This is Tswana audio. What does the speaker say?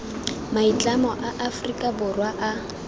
maitlamo a aforika borwa a